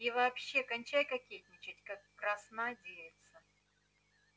и вообще кончай кокетничать как красна девица